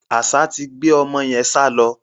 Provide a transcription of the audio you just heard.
Àṣá ti gbé ọmọ yẹn sálọ.